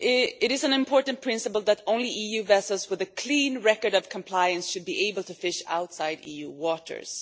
It is an important principle that only EU vessels with a clean record of compliance should be able to fish outside EU waters.